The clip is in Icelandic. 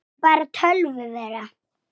GRÍMUR: Svona læknir.